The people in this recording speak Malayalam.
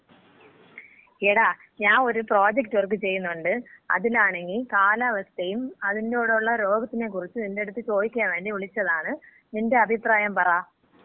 സ്പീക്കർ 1 എടാ, ഞാൻ ഒരു പ്രോജക്ട് വർക്ക് ചെയ്യുന്നുണ്ട്. അതിനാണങ്കി കാലാവസ്ഥയും അതിന്‍റൂടൊള്ള രോഗത്തിനെ കുറിച്ചും നിന്‍റടത്ത് ചോദിക്കാൻ വേണ്ടി വിളിച്ചതാണ്. നിന്‍റെ അഭിപ്രായം പറ.